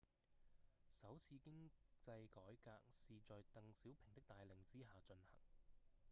首次經濟改革是在鄧小平的帶領之下進行